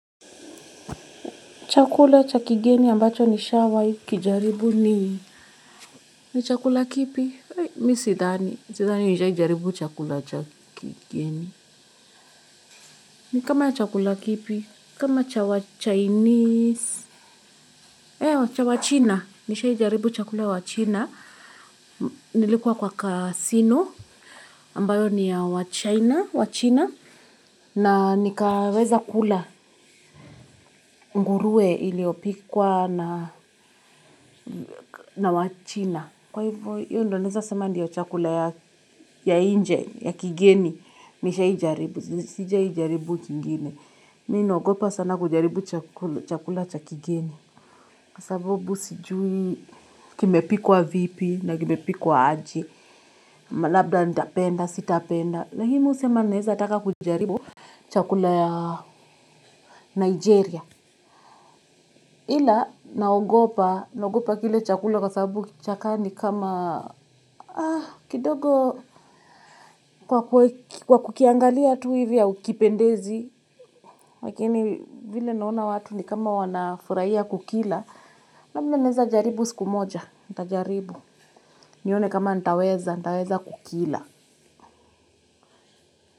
Chakula chakigeni ambacho nisha waikijaribu ni ni chakula kipi? Mi sidani. Sidhani nisha ijaribu chakula chakigeni. Ni kama ya chakula kipi? Kama cha wachinese. Ewa cha wachina. Nisha ijaribu chakula ya wachina. Nilikuwa kwa casino. Ambayo ni ya wachina. Wachina. Na nikaweza kula nguruwe iliyopikwa na wachina. Kwa hivyo, hivyo ndonaeza sema ndiyo chakula ya inje, ya kigeni, nisha ijaribu, sijija ijaribu kingine. Mina ogopa sana kujaribu chakula cha kigeni. Kwasabubu sijui kimepikwa vipi na kimepikwa aje, malabda nitapenda, sitapenda. Lakini mi usema ninaeza taka kujaribu chakula ya Nigeria. Hila naogopa, naogopa kile chakula kwa sababu chakaa ni kama kidogo kwa kukiangalia tu hivi haukipendezi. Lakini vile naona watu ni kama wanafuraia kukila. Labda naeza jaribu siku moja, ntajaribu. Nione kama ntaweza, ntaweza kukila.